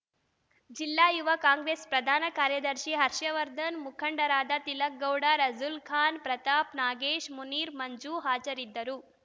ಜಿಲ್ಲಾ ಯುವ ಕಾಂಗ್ರೆಸ್‌ ಪ್ರಧಾನ ಕಾರ್ಯದರ್ಶಿ ಹರ್ಷವರ್ಧನ್‌ ಮುಖಂಡರಾದ ತಿಲಕ್‌ ಗೌಡ ರಸೂಲ್‌ ಖಾನ್‌ ಪ್ರತಾಪ್‌ ನಾಗೇಶ್‌ ಮುನೀರ್‌ ಮಂಜು ಹಾಜರಿದ್ದರು